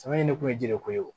Sama in ne kun ye ji de ko ye